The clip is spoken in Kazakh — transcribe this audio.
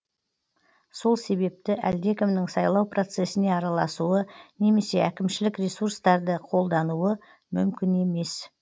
сол себепті әлдекімнің сайлау процессіне араласуы немесе әкімшілік ресуртарды қолдануы мүмкін емес